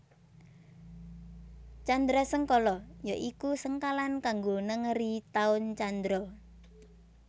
Candrasengkala ya iku sengkalan kanggo nengeri taun candra